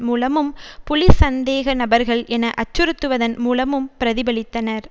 மூலமும் புலி சந்தேகநபர்கள் என அச்சுறுத்துவதன் மூலமும் பிரதிபலித்தனர்